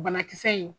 Banakisɛ in